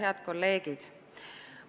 Head kolleegid!